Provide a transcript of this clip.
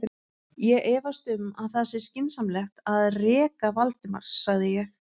Ég efast um að það sé skynsamlegt að reka Valdimar sagði ég.